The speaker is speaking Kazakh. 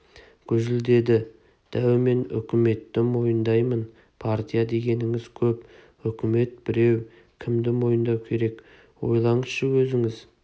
гүжілдеді дәу мен үкіметті мойындаймын партия дегеніңіз көп үкімет біреу кімді мойындау керек ойлаңызшы өзіңіз